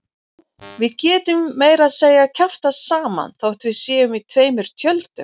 Já, við getum meira að segja kjaftað saman þótt við séum í tveim tjöldum.